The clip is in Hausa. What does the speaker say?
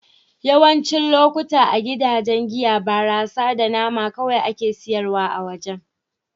Yawancin lokatai a gidajen giya, barasa da nama kawai akan sayar a wajen.